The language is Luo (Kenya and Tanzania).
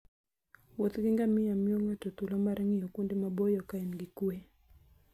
Wuoth gi ngamia miyo ng'ato thuolo mar ng'iyo kuonde maboyo ka en gi kuwe.